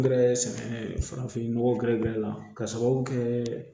Gɛrɛ farafin nɔgɔ gɛrɛgɛrɛ la k'a sababu kɛ